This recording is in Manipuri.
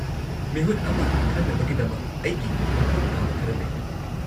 -ꯃꯤꯍꯨꯠ ꯑꯃ ꯈꯟꯅꯕꯒꯤꯗꯃꯛ ꯑꯩꯒꯤ ꯃꯊꯧ ꯇꯥꯕ ꯈꯔ ꯂꯩ꯫